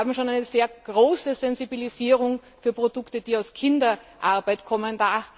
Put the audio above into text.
Wir haben schon eine sehr große Sensibilisierung für Produkte, die aus Kinderarbeit kommen.